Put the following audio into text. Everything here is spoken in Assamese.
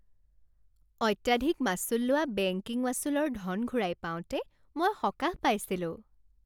অত্যাধিক মাচুল লোৱা বেংকিং মাচুলৰ ধন ঘূৰাই পাওঁতে মই সকাহ পাইছিলোঁ।